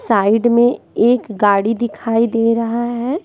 Side में एक गाड़ी दिखाई दे रहा है।